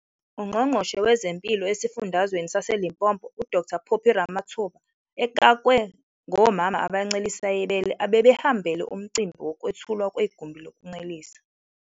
UNgqongqoshe wezeMpilo esiFundazweni saseLimpopo uDkt Phophi Ramathuba ekakwe ngomama abancelisa ibele abebehambele umcimbi wokwethulwa kwegumbi lokuncelisa.